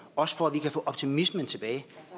også for at vi kan få optimismen tilbage